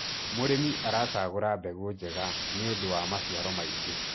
mũrĩmi aracagura mbegũ njega nĩũndũ wa maciaro maĩngi